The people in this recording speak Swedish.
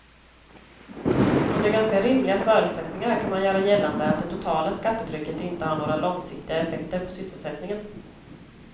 Under ganska rimliga förutsättningar kan man göra gällande att det totala skattetrycket inte har några långsiktiga effekter på sysselsättningen.